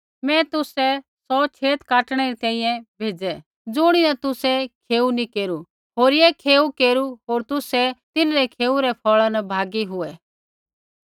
मैं तुसाबै सौ छेत काटणै री तैंईंयैं भेज़ै ज़ुणीन तुसै खेऊ नी केरू होरिये खेऊ केरू होर तुसै तिन्हरै खेऊ रै फ़ौल़ा न भागी हुऐ